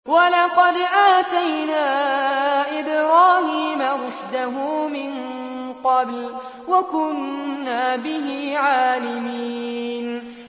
۞ وَلَقَدْ آتَيْنَا إِبْرَاهِيمَ رُشْدَهُ مِن قَبْلُ وَكُنَّا بِهِ عَالِمِينَ